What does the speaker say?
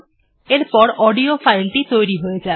এরপর অডিও ফাইলটি তৈরি হয়ে যাবে